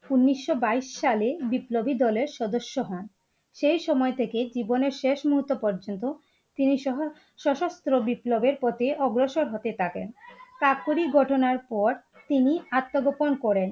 উনিশশো বাইস সালে বিপ্লবী দলের সদস্য হন । সেই সময় থেকে জীবনের শেষ মুহূর্ত পর্যন্ত তিনি সশস্ত্র বিপ্লবের প্রতি অগ্রসর হতে থাকেন। কাকোরি ঘটনার পর তিনি আত্মগোপন করেন ।